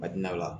A di na o la